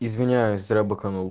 извиняюсь зря быканул